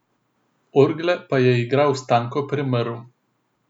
Orgle pa je igral Stanko Premrl.